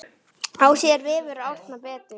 Að sér vefur Árna betur